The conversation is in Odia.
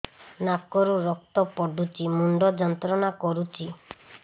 ନାକ ରୁ ରକ୍ତ ପଡ଼ୁଛି ମୁଣ୍ଡ ଯନ୍ତ୍ରଣା କରୁଛି